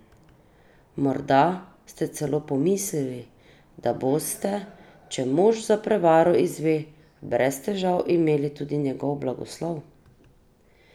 Morda ste celo pomislili, da boste, če mož za prevaro izve, brez težav imeli tudi njegov blagoslov?